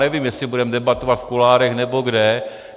Nevím, jestli budeme debatovat v kuloárech, nebo kde?